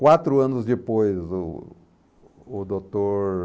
Quatro anos depois, o o doutor...